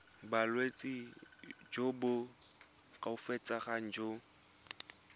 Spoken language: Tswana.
bolwetsi jo bo koafatsang jo